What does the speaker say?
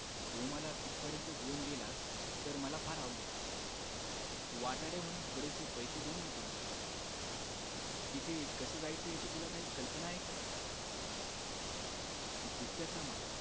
तू मला तिथपर्यंत घेऊन गेलास तर मला फार आवडेल वाटाड्या म्हणून पुरेसे पैसे देईन मी तुला तिथे कस जायचंय याची तुला काही कल्पना आहे का गुत्त्याचा मालक